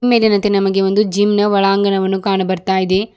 ಈ ಮೇಲಿನಂತೆ ನಮಗೆ ಒಂದು ಜಿಮ್ ನ ಒಳಂಗಣ ವನ್ನು ಕಾಣು ಬರ್ತಾ ಇದೆ.